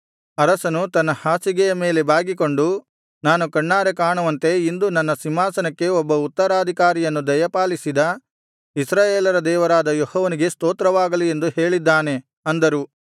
ಅರಸನು ತನ್ನ ಹಾಸಿಗೆಯ ಮೇಲೆ ಬಾಗಿಕೊಂಡು ನಾನು ಕಣ್ಣಾರೆ ಕಾಣುವಂತೆ ಇಂದು ನನ್ನ ಸಿಂಹಾಸನಕ್ಕೆ ಒಬ್ಬ ಉತ್ತರಾಧಿಕಾರಿಯನ್ನು ದಯಪಾಲಿಸಿದ ಇಸ್ರಾಯೇಲರ ದೇವರಾದ ಯೆಹೋವನಿಗೆ ಸ್ತೋತ್ರವಾಗಲಿ ಎಂದು ಹೇಳಿದ್ದಾನೆ ಅಂದರು